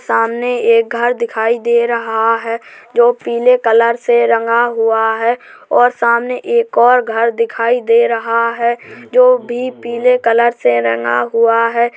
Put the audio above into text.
सामने एक घर दिखाई दे रहा है जो पीले कलर से रंगा हुआ है और सामने एक और घर दिखाई दे रहा है जो भी पीले कलर से रंगा हुआ है।